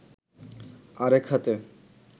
আরেক হাতে